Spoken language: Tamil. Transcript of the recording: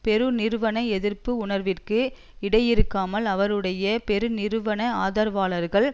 பெருநிறுவன எதிர்ப்பு உணர்விற்கு விடையிறுக்காமல் அவருடைய பெருநிறுவன ஆதரவாளர்கள்